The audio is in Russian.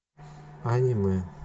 аниме